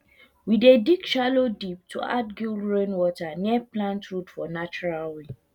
we dey dig shallow deep to add guild rainwater near plant root for natural way